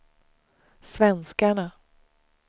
svenskarna